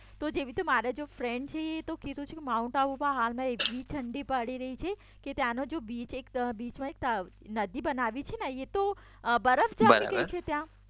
તો જેવી રીતે મારા જો ફ્રેન્ડ છે એતો કેતો છે માઉન્ટ આબુતો હાલમાં એટલી ઠંડી પડી રહી છે કે ત્યાંનો બીચમાં એક નદી બનાવી છે એતો બરફ જામી ગયો છે ત્યાં બરાબર